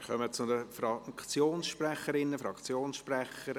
Wir kommen zu den Fraktionssprecherinnen und Fraktionssprechern;